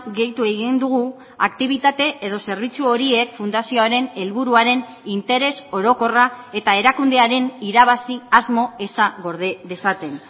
gehitu egin dugu aktibitate edo zerbitzu horiek fundazioaren helburuaren interes orokorra eta erakundearen irabazi asmo eza gorde dezaten